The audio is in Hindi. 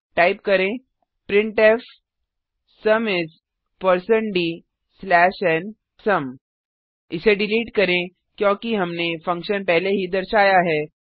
टाइप करें printfसुम is160dnसुम इसे डिलीट करें क्योंकि हमने फंक्शन पहले ही दर्शाया है